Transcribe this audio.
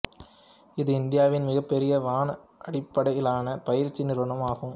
இது இந்தியாவின் மிகப்பெரிய வன அடிப்படையிலான பயிற்சி நிறுவனம் ஆகும்